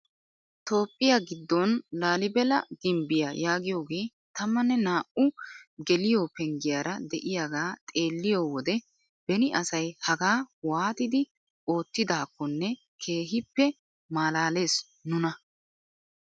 Toophphiyaa giddon laalibella gimbbiyaa yaagiyoogee tammane naa"u geliyoo penggiyaara de'iyaagaa xeelliyoo wode beni asay hagaa waattidi oottidakonne keehippe malalees nuna.